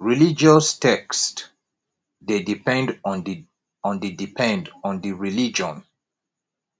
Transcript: religious text de depend on di depend on di religion